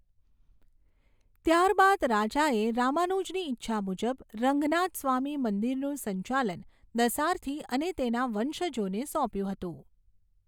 ત્યારબાદ રાજાએ રામાનુજની ઈચ્છા મુજબ રંગનાથસ્વામી મંદિરનું સંચાલન દસારથી અને તેના વંશજોને સોંપ્યું હતું.